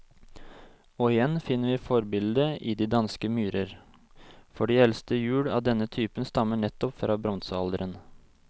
Og igjen finner vi forbildet i de danske myrer, for de eldste hjul av denne type stammer nettopp fra bronsealderen.